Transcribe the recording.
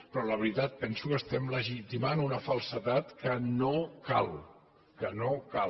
però la veritat penso que estem legitimant una falsedat que no cal